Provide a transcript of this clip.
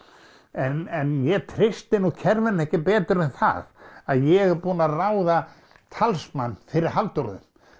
en ég treysti nú kerfinu ekki betur en það að ég er búinn að ráða talsmann fyrir Halldóru